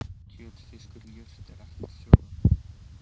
Kjöt fiskur jurt er ekkert fjórða?